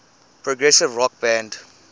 progressive rock band